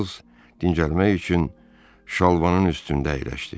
Çarlz dincəlmək üçün şalvarının üstündə əyləşdi.